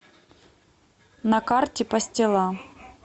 на карте пастила